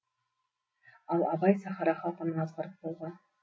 ал абай сахара халқын азғырып болған